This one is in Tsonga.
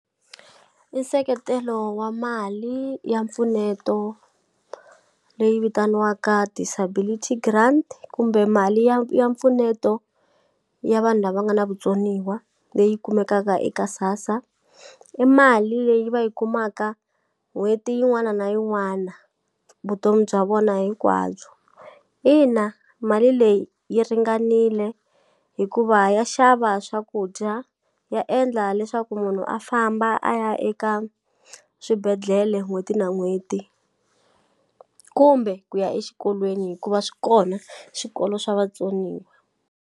I nseketelo wa mali ya mpfuneto leyi vitaniwaka disability grant kumbe mali ya ya mpfuneto ya vanhu lava nga na vutsoniwa leyi kumekaka eka SASSA i mali leyi va yi kumaka n'hweti yin'wana na yin'wana vutomi bya vona hinkwabyo ina mali leyi yi ringanile hikuva ya xava swakudya ya endla leswaku munhu a famba a ya eka swibedhlele n'hweti na n'hweti kumbe ku ya exikolweni hikuva swi kona swikolo swa vatsoniwa.